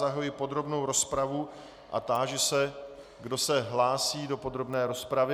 Zahajuji podrobnou rozpravu a táži se, kdo se hlásí do podrobné rozpravy.